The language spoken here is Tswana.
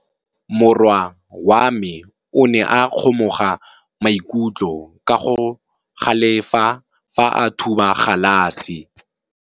Morwa wa me o ne a kgomoga maikutlo ka go galefa fa a thuba galase.